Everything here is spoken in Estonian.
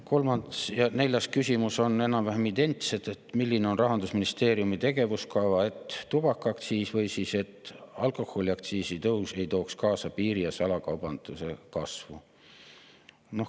Kolmas ja neljas küsimus on enam-vähem identsed: milline on Rahandusministeeriumi tegevuskava, et tubakaaktsiisi või alkoholiaktsiisi tõus ei tooks kaasa piiri‑ ja salakaubanduse kasvu?